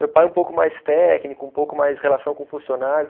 Meu pai um pouco mais técnico, um pouco mais relação com funcionário.